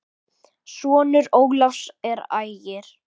Sonur Ólafs er Ægir.